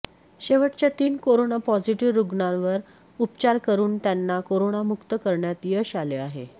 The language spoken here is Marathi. शेवटच्या तीन कोरोना पॉझिटिव्ह रुग्णांवर उपचार करून त्यांना कोरोनामुक्त करण्यात यश आले आहे